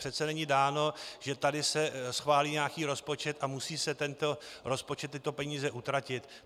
Přece není dáno, že se tady schválí nějaký rozpočet a musí se tento rozpočet, tyto peníze, utratit.